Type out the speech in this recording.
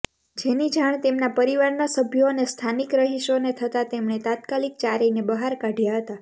જેની જાણ તેમના પરિવારના સભ્યો અને સ્થાનીક રહીશોને થતા તેમણે તાત્કાલિક ચારેયને બહાર કાઢ્યા હતા